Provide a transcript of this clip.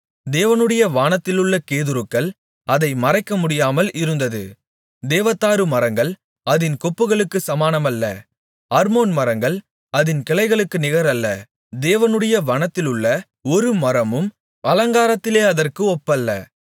தேவனுடைய வனத்திலுள்ள கேதுருக்கள் அதை மறைக்கமுடியாமல் இருந்தது தேவதாரு மரங்கள் அதின் கொப்புகளுக்குச் சமானமல்ல அர்மோன் மரங்கள் அதின் கிளைகளுக்கு நிகரல்ல தேவனுடைய வனத்திலுள்ள ஒரு மரமும் அலங்காரத்திலே அதற்கு ஒப்பல்ல